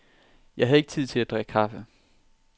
Jeg havde ikke tid til at drikke kaffe.